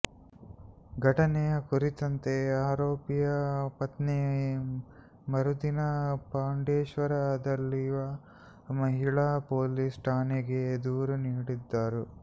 ಘಟನೆಯ ಕುರಿತಂತೆ ಆರೋಪಿಯ ಪತ್ನಿ ಮರುದಿನ ಪಾಂಡೇಶ್ವರ ದಲ್ಲಿರುವ ಮಹಿಳಾ ಪೊಲೀಸ್ ಠಾಣೆಗೆ ದೂರು ನೀಡಿದ್ದರು